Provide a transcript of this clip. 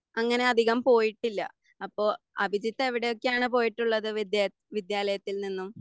അങ്ങനെ അധികം പോയിട്ടില്ല. അപ്പൊ അഭിജിത്ത് എവിടെയൊക്കെയാണ് പോയിട്ടുള്ളത് വിദ്യ വിദ്യാലയത്തിൽ നിന്നും